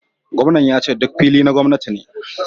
Gwamnan yace duk fili na gwamnati ne